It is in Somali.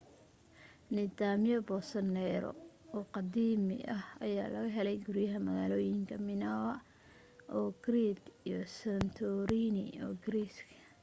nidaamyo boosoneero oo qadiimi ayaa laga helay guriyaha magaalooyinka minoa oo crete iyo santorini ee greece